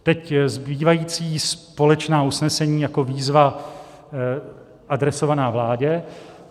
Teď zbývající společná usnesení jako výzva adresovaná vládě: